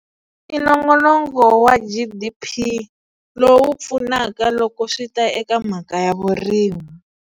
I nongonoko wa G_D_P lowu pfunaka loko swi ta eka mhaka ya vurimi.